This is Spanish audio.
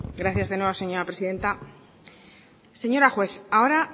gracias de nuevo señora presidenta señora juez ahora